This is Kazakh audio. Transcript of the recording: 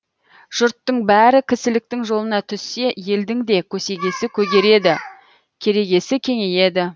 жұрттың бәрі кісіліктің жолына түссе елдің де көсегесі көгереді керегесі кеңейеді